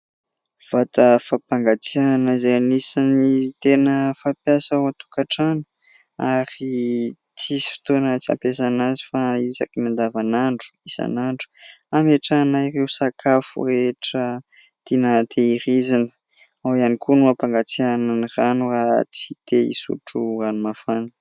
Vata fampangatsiahana izay anisan'ny tena fampiasa ao an-tokantrano ary tsy misy fotoana tsy hampiasana azy fa isaky ny andavanandro, isan'andro, ametrahana ireo sakafo rehetra tiana tehirizina; ao ihany koa no hampangatsiahana ny rano raha tsy te hisotro ranomafana.